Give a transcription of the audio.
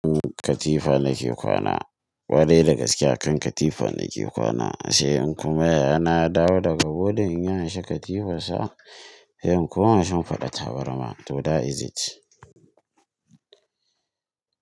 Katifa nake kwana, ƙwarai da gaske akan katifa nake kwana sai in kuma yaya na ya dawo daga boarding in ya amshi katifar sa, sai in koma shimfiɗa tabarma to that is it.